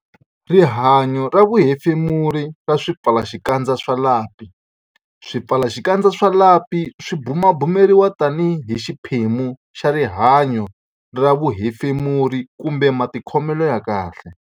Rihanyo ra vuhefemuri ra swipfalaxikandza swa lapi Swipfalaxikandza swa lapi swi bumabumeriwa tanihi xiphemu xa rihanyo ra vuhefemuri kumbe matikhomelo ya kahle.